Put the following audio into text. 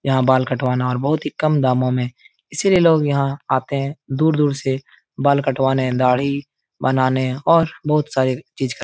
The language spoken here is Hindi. यहाँ बाल कटवाना और बहुत ही कम दामों में इसीलिए लोग यहाँ आते हैं दूर - दूर से बाल कटवाने दाढ़ी बनाने और बहुत सारी चीज़ क --